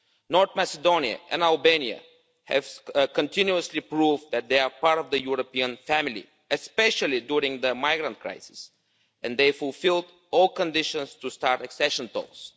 North Macedonia and Albania have continuously proved that they are part of the European family, especially during the migrant crisis, and they have fulfilled all conditions to start accession talks.